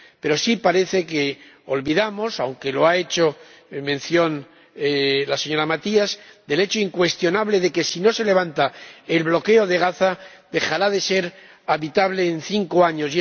Pero sí parece que olvidamos ―aunque lo ha mencionado la señora Matias― el hecho incuestionable de que, si no se levanta el bloqueo de Gaza, Gaza dejará de ser habitable en cinco años.